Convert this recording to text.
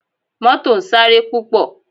Mọ́tò ń sáré púpọ̀